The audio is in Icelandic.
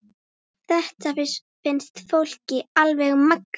Þetta finnst fólki alveg magnað.